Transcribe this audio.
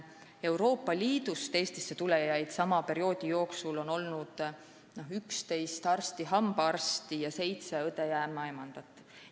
Euroopa Liidust Eestisse tulnuid on sama perioodi jooksul olnud 11 arsti/hambaarsti ning seitse õde ja ämmaemandat.